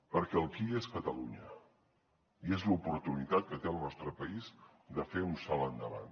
perquè el qui és catalunya i és l’oportunitat que té el nostre país de fer un salt endavant